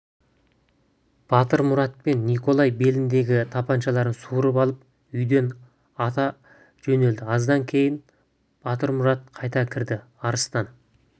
батырмұрат пен николай беліндегі тапаншаларын суырып алып үйден ата жөнелді аздан кейін батырмұрат қайта кірді арыстан